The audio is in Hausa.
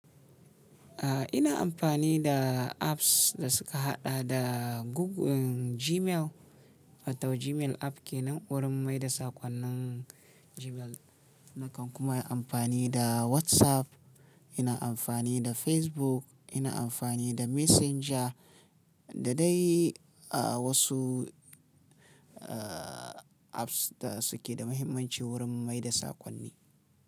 Ah, ina amfani da apps da suka haɗa da Google-- Gmail, watau Gmail app ke nan wurin maida sakonnan Gmail. Nakan kuma yi amfani da WhatsApp, ina amfani da Facebook, ina amfani da Messenger da dai wasu, ah, apps da suke da mahimmanci wurin maida sakonni.